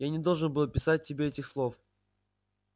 я не должен был писать тебе этих слов